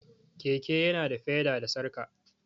Keke ya na da feda da sarƙa